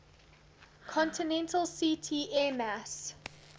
continental ct airmass